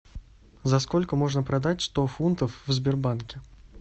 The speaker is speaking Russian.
за сколько можно продать сто фунтов в сбербанке